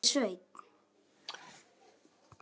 Það er enginn vandi að nýta úr henni síðasta blóðdropann.